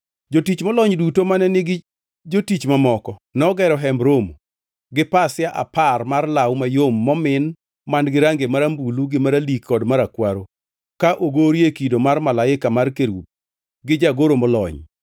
Jotich molony duto mane nigi jotich mamoko nogero Hemb Romo gi pasia apar mar law mayom momin man-gi rangi marambulu gi maralik kod marakwaro ka ogorie kido mar malaika mar kerubi gi jagoro molony.